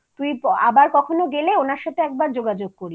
তুই আবার কখনও গেলে ওনার সাথে একবার যোগাযোগ করিস